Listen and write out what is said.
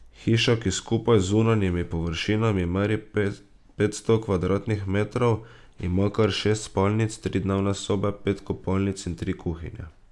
Hiša, ki skupaj z zunanjimi površinami meri petsto kvadratnih metrov, ima kar šest spalnic, tri dnevne sobe, pet kopalnic in tri kuhinje.